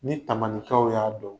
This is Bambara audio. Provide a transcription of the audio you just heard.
Ni Tamanikaw y'a dɔn